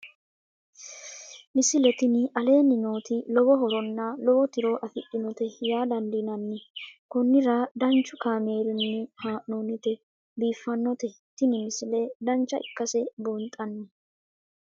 misile tini aleenni nooti lowo horonna lowo tiro afidhinote yaa dandiinanni konnira danchu kaameerinni haa'noonnite biiffannote tini misile dancha ikkase buunxanni